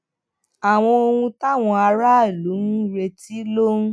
àwọn ohun táwọn aráàlú ń retí ló ń